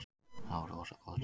Það var rosa góð stemning.